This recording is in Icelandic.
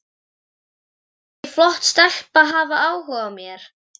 Má ekki flott stelpa hafa áhuga á mér?